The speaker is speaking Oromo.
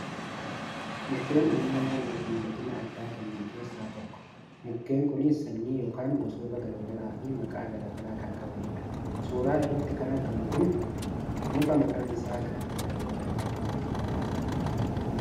Mukeen uumama naannoof miidhagina addaa kennan keessaa isaan tokko. Mukkeen kunis sanyii yookaan gosoota gar garaa fi maqaa gara garaa kan qabanidha. Suura irratti kan argamu muka maqaan isaa Gaattiraa jedhamudha.